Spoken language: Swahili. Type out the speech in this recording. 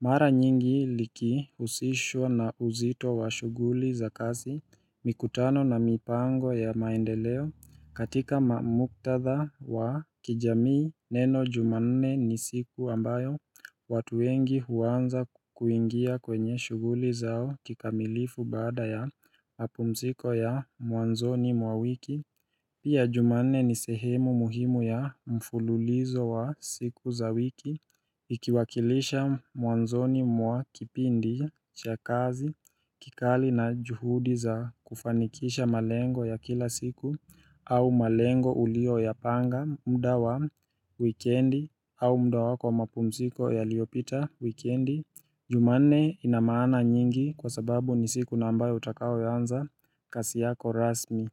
Mara nyingi likihusishwa na uzito wa shuguli za kazi mikutano na mipango ya maendeleo katika mamuktadha wa kijamii neno jumanne ni siku ambayo watu wengi huanza kuingia kwenye shuguli zao kikamilifu bada ya mapumziko ya muanzoni mwa wiki Pia jumane ni sehemu muhimu ya mfululizo wa siku za wiki Ikiwakilisha muanzoni mwa kipindi cha kazi Kikali na juhudi za kufanikisha malengo ya kila siku au malengo ulioyapanga mda wa wikendi au mda wako wa mapumsiko yaliopita wikendi Jumane ina maana nyingi kwa sababu nisi kuna ambayo utakao yaanza kasi yako rasmi.